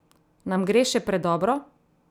Nam gre še predobro?